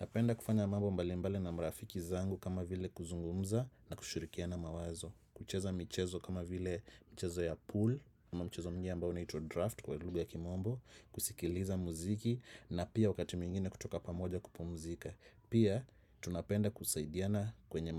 Napenda kufanya mambo mbali mbali na marafiki zangu kama vile kuzungumza na kushirikiana mawazo. Kucheza michezo kama vile mchezo ya pool kama mchezo mwingine ambao unaitwa draft kwa lugha ya kimombo. Kusikiliza muziki na pia wakati mwingine kutoka pamoja kupumzika. Pia tunapenda kusaidiana kwenye